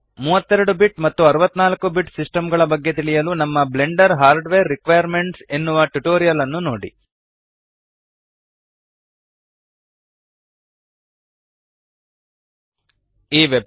32 bit ಮತ್ತು 64 bit system ಗಳ ಬಗ್ಗೆ ತಿಳಿಯಲು ನಮ್ಮ Blender hardware requirements Blender hardware requirements ಎನ್ನುವ ಟ್ಯುಟೋರಿಯಲ್ ನ್ನು ನೋಡಿ